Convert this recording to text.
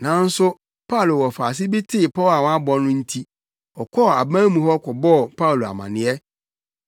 Nanso Paulo wɔfaase bi tee pɔw a wɔabɔ no nti ɔkɔɔ aban mu hɔ kɔbɔɔ Paulo amanneɛ.